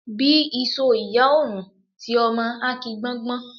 Bí isó ìyá ò rùn, ti ọmọ á ki gbọ́ngbọ́n.